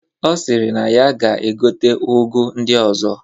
Ọ sịrị na ya ga-egote ụgụ ndị ọzọ